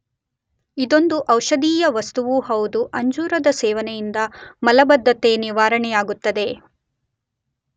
ಇದೊಂದು ಔಷಧೀಯ ವಸ್ತುವೂ ಹೌದು, ಅಂಜೂರದ ಸೇವನೆಯಿಂದ ಮಲಬದ್ಧತೆ ನಿವಾರಣೆಯಾಗುತ್ತದೆ.